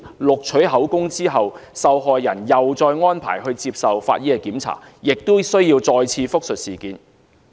錄取口供後，受害人再獲安排接受法醫檢查，也需要複述事件。